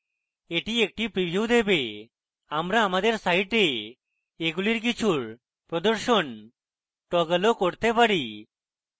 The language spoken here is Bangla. এটি একটি preview দেবে আমরা আমাদের site এগুলির কিছুর প্রদর্শন টগলও করতে পারি